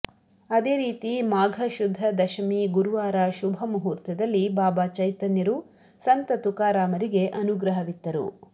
ಅದೇ ರೀತಿ ಮಾಘ ಶುದ್ಧ ದಶಮಿ ಗುರುವಾರ ಶುಭ ಮುಹೂರ್ತದಲ್ಲಿ ಬಾಬಾ ಚೈತನ್ಯರು ಸಂತ ತುಕಾರಾಮರಿಗೆ ಅನುಗ್ರಹವಿತ್ತರು